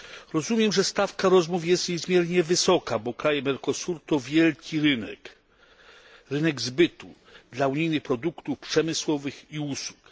Rozumiem, że stawka rozmów jest niezmiernie wysoka, bo kraje Mercosuru to wielki rynek, rynek zbytu dla unijnych produktów przemysłowych i usług.